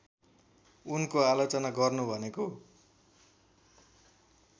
उनको आलोचना गर्नु भनेको